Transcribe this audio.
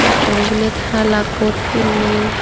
mattor bu bilet hala coat pinney.